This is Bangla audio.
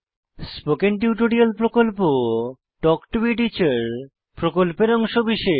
স্পোকেন টিউটোরিয়াল প্রকল্প তাল্ক টো a টিচার প্রকল্পের অংশবিশেষ